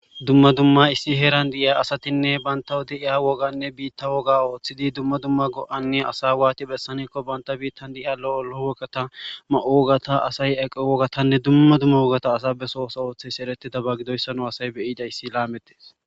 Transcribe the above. dumma dumma issi heran di'iya asatinne banta de iya woganne biitta woga ooththidi dumma dumma go'anne asa waati bessanikko banta biittan de'iya lo'ol lo'o woggatta ma'o wogata asay aqo wogatanne dumma dumma wogata asay be sohon sohon oothis erettiddaba gidoyssa nu asay beyidayssi lametees